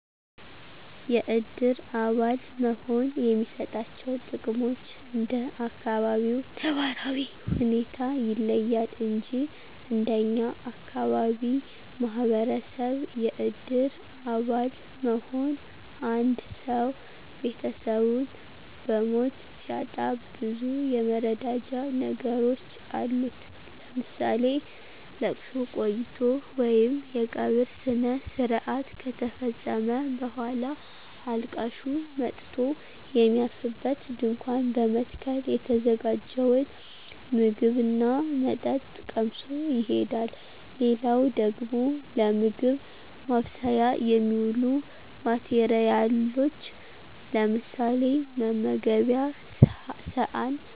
የእድር አባል መሆን የሚሰጣቸው ጥቅሞች እንደ አካባቢው ነባራዊ ሁኔታ ይለያል እንጅ እንደኛ አካባቢ ማህበረሰብ የእድር አባል መሆን አንድሰው ቤተሰቡን በሞት ሲያጣ ብዙ የመረዳጃ ነገሮች አሉት ለምሳሌ፦ ለቅሶ ቆይቶ ወይም የቀብር ስነስረአት ከተፈፀመ በኋላ አልቃሹ መጥቶ የሚያርፍበት ድንኳን በመትከል የተዘጋጀውን ምግብ ና መጠጥ ቀምሶ ይሄዳል። ሌላው ደግሞ ለምግብ ማብሰያ የሚውሉ ማቴረያሎች ለምሳሌ፦ መመገቤያ ሰአን፣